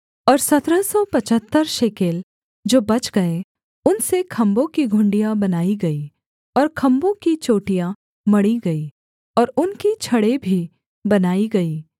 और सत्रह सौ पचहत्तर शेकेल जो बच गए उनसे खम्भों की घुंडियाँ बनाई गईं और खम्भों की चोटियाँ मढ़ी गईं और उनकी छड़ें भी बनाई गईं